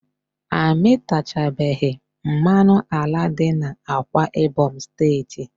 A mịtachabeghi mmanụ ala dị n'Akwa Ibom steeti